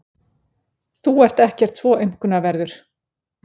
Þú ert ekkert svo aumkunarverður.